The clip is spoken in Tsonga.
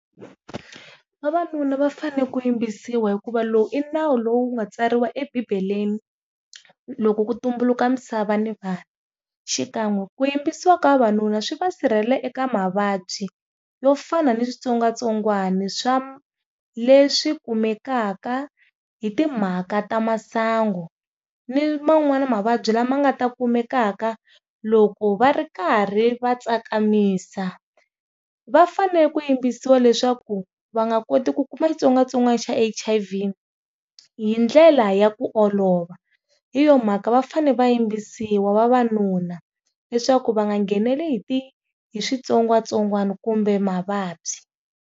Vavanuna va fanele ku yimbisiwa hikuva lowu i nawu lowu nga tsariwa ebibeleni, loko ku tumbuluka misava ni vanhu xikan'we ku yimbisiwa ka vavanuna swi va sirhelela eka mavabyi yo fana ni switsongwatsongwani swa leswi kumekaka hi timhaka ta masangu ni man'wani mavabyi lama nga ta kumekaka loko va ri karhi va tsakamisa va fanele ku yimbisiwa leswaku va nga koti ku kuma xitsongwatsongwana xa H_I_V hindlela ya ku olova, hi yo mhaka va fane va yimbisiwa vavanuna leswaku va nga nghenelwe hi ti hi switsongwatsongwana kumbe mavabyi.